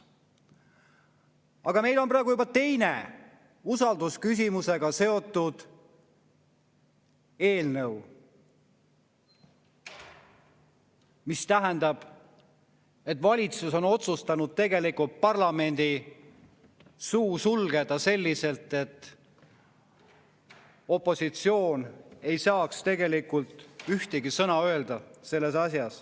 Aga meil on praegu juba teine usaldusküsimusega seotud eelnõu, mis tähendab, et valitsus on otsustanud parlamendi suu sulgeda selliselt, et opositsioon ei saaks selles asjas tegelikult ühtegi sõna öelda.